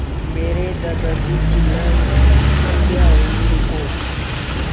मेरे दादाजी चिल्लाए सत्या वहीं रुको